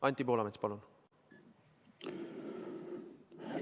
Anti Poolamets, palun!